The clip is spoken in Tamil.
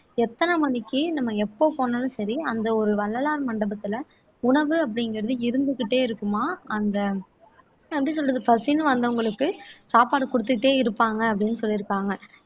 எத்தன மணிக்கு நம்ம எப்ப போனாலும் சரி அந்த ஒரு வள்ளலார் மண்டபத்துல உணவு அப்படிங்கிறது இருந்துக்கிட்டே இருக்குமாம் அந்த எப்படி சொல்றது பசின்னு வந்தவங்களுக்கு சாப்பாடு கொடுத்துட்டே இருப்பாங்க அப்படின்னு சொல்லியிருக்காங்க